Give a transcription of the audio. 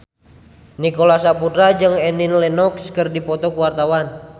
Nicholas Saputra jeung Annie Lenox keur dipoto ku wartawan